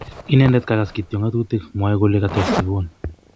inendet kagas kityok ng�atutik, mwoe kole, kates yvonne